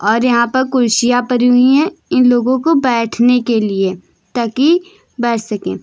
और यहां पर कुर्सियां परी हुई हैं इन लोगों को बैठने के लिए ताकी बैठ सकें।